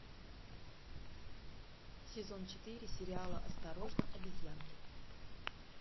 сезон четыре сериала осторожно обезьянки